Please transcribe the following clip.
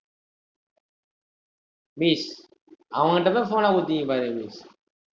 அவன்கிட்டலாம் phone ஐ குடுத்தீங்க பாருங்க miss